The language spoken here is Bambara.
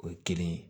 O ye kelen ye